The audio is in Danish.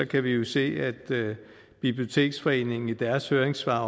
kan vi jo se at biblioteksforeningen i deres høringssvar